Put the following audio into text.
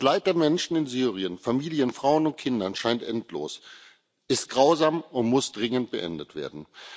Das Leid der Menschen in Syrien, von Familien, Frauen und Kindern, scheint endlos, ist grausam und muss dringend beendet werden.